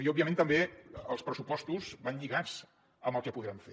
i òbviament també els pressupostos van lligats amb el que podrem fer